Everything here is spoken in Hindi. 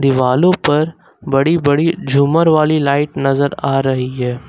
दीवालों पर बड़ी बड़ी झूमर वाली लाइट नजर आ रही है।